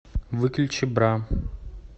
выключи бра